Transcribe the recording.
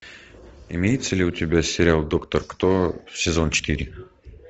имеется ли у тебя сериал доктор кто сезон четыре